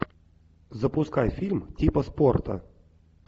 запускай фильм типа спорта